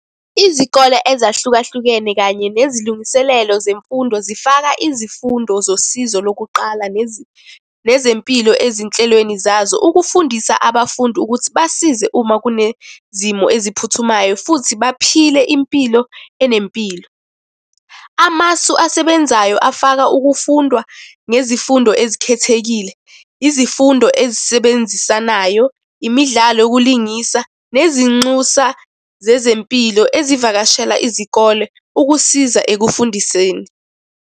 Izikole ezahlukahlukene kanye nezilungiselelo zemfundo zifaka izifundo zosizo lokuqala nezempilo ezinhlelweni zazo. Ukufundisa abafundi ukuthi basize uma kunezimo eziphuthumayo futhi baphile impilo enempilo. Amasu asebenzayo afaka ukufundwa ngezifundo ezikhethekile, izifundo ezisebenzisanayo, imidlalo yokulingisa, nezinxusa zezempilo ezivakashela izikole ukusiza ekufundiseni.